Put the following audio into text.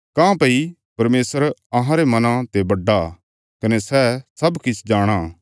काँह्भई परमेशर अहांरे मना ते बड्डा कने सै सब किछ जाणाँ